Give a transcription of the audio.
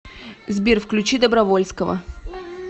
сбер включи добровольского